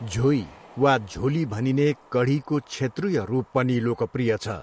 झोई वा झोली भनिने कढीको क्षेत्रीय रूप पनि लोकप्रिय छ।